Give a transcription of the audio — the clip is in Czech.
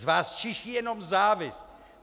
Z vás čiší jenom závist!